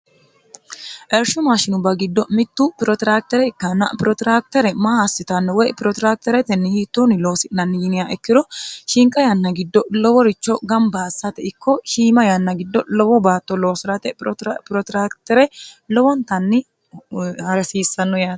ershu maashinubba giddo mittu piroteraktere ikkanna piroteraktere maa assitanno woy piroterakteretenni hiittoonni loosi'nanni yiniya ekkiro shinqa yanna giddo loworicho gambaassate ikko hiima yanna giddo lowo baatto loosi'rate piroteraktere lowontanni harsiissanno yaare